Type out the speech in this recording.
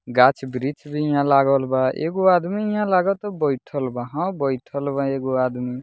गाछ-वृक्ष भी यहाँ लागल बा एगो आदमी यहाँ लाग ता बइठल बा हां बइठल बा एगो आदमी।